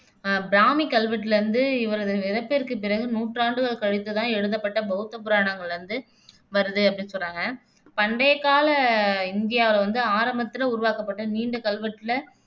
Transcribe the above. அஹ் பிராமி கல்வெட்டுல இருந்து இவரது இறப்பிற்குப் பிறகு நூற்றாண்டுகள் கழித்து எழுதப்பட்ட பௌத்த புராணங்களிலிருந்து வருது அப்படின்னு சொல்றாங்க. பண்டைக்கால இந்தியாவுல வந்து ஆரம்பத்து உருவாக்கப்பட்ட நீண்ட கல்வெட்டுல